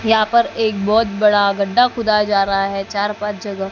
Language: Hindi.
यहां पर एक बहोत बड़ा गड्ढा खुदा जा रहा है चार पांच जगह--